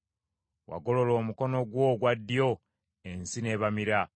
“Wagolola omukono gwo ogwa ddyo, ensi n’ebamira.